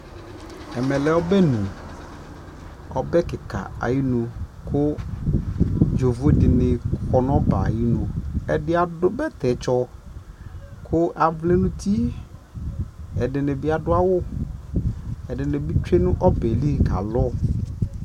ɛmɛ lɛ ɔbɛnʋ, ɔbɛ kikaa ayinʋ kʋ yɔvɔ dini kɔ nʋ ɔbɛ ayinʋ, ɛdi adʋ bɛtɛ tsɔ kʋ avlɛ nʋ ʋti, ɛdinibi adʋ awʋ, ɛdinibi twɛnʋ ɔbɛli kalʋ